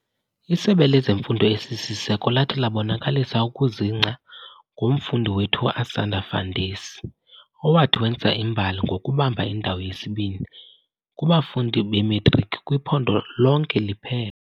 Isebe lezeMfundo esisiseko lathi labonakalisa ukuzingca ngomfundi wethu uAsanda Fandesi owathi wenza imbali ngokubamba indawo yesibini kubafundi beMatriki kwiphondo lonke liphela.